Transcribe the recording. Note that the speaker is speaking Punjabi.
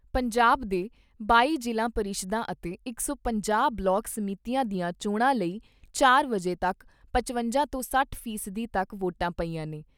ਪੰਜਾਬ ਦੇ ਬਾਈ ਜ਼ਿਲ੍ਹਾ ਪਰਿਸ਼ਦਾਂ ਅਤੇ ਡੇਢ ਸੌ ਬਲਾਕ ਸਮਿਤੀਆਂ ਦੀਆਂ ਚੋਣਾਂ ਲਈ ਚਾਰ ਵਜੇ ਤੱਕ ਪਚਵੰਜਾ ਤੋਂ ਸੱਠ ਫ਼ੀ ਸਦੀ ਤੱਕ ਵੋਟਾਂ ਪਈਆਂ ਨੇ।